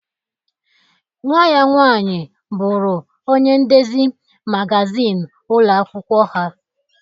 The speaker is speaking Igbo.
Nwa ya nwaanyi bụrụ ọnye ndezi magazịn ụlo akwụkwo ha